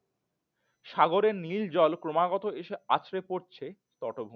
সাগরের নীল জল ক্রমাগত এসে আঁচড়ে পড়ছে পটভূমিতে।